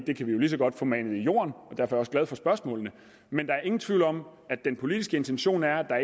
det kan vi jo lige så godt få manet i jorden og derfor også glad for spørgsmålene men der er ingen tvivl om at den politiske intention er at der